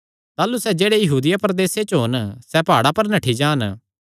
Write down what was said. ताह़लू जेह्ड़े यहूदिया प्रदेसे च होन सैह़ प्हाड़ां पर नठ्ठी जान